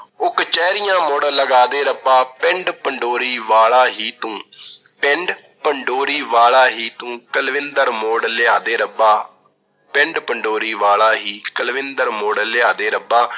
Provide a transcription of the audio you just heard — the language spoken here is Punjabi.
ਉਹ ਕਚਹਿਰੀਆਂ ਮੁੜ ਲਗਾ ਦੇ ਰੱਬਾ, ਪਿੰਡ ਪੰਡੋਰੀ ਵਾਲਾ ਹੀ ਤੂੰ, ਪਿੰਡ ਪੰਡੋਰੀ ਵਾਲਾ ਹੀ ਤੂੰ, ਕੁਲਵਿੰਦਰ ਮੋੜ ਲਿਆ ਦੇ ਰੱਬਾ। ਪਿੰਡ ਪੰਡੋਰੀ ਵਾਲਾ ਹੀ, ਕੁਲਵਿੰਦਰ ਮੋੜ ਲਿਆ ਦੇ ਰੱਬਾ।